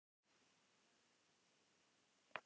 Það geta verið nokkrar ástæður fyrir baugum undir augum.